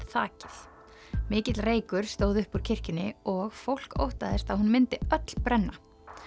þakið mikill reykur stóð upp úr kirkjunni og fólk óttaðist að hún myndi öll brenna